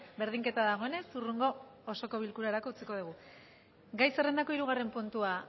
berdinketa dagoenez hurrengo osoko bilkurarako utziko dugu gai zerrendako hirugarren puntua